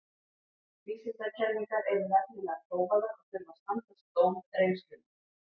Vísindakenningar eru nefnilega prófaðar og þurfa að standast dóm reynslunnar.